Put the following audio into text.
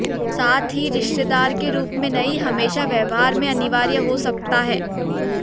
साथ ही रिश्तेदार के रूप में नहीं हमेशा व्यवहार में अनिवार्य हो सकता है